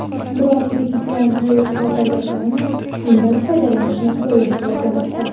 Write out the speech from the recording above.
Biroq prezident bu e’tirozlarga qaramay, undan foydalanishni qo‘llab-quvvatlamoqda.